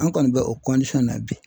An kɔni bɛ o na bi.